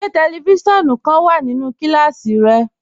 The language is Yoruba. Ṣẹ tẹlífísiọ̀nù kan wà nínú kílásí rẹ?